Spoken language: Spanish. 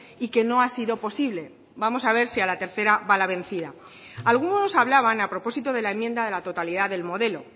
y que no ha sido posible vamos a ver si a la tercera va la vencida algunos hablaban a propósito de la enmienda de la totalidad del modelo